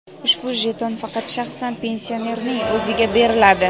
Ushbu jeton faqat shaxsan pensionerning o‘ziga beriladi.